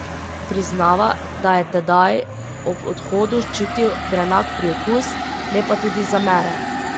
Priznava, da je tedaj ob odhodu čutil grenak priokus, ne pa tudi zamere.